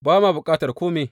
Ba ma bukatar kome.